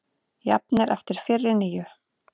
Jafnir eftir fyrri níu